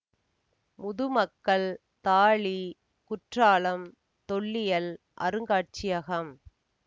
முதுமக்கள் தாழி குற்றாலம் தொல்லியல் அருங்காட்சியகம்